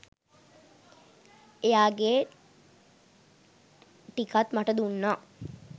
එයාගෙ ටිකත් මට දුන්නා.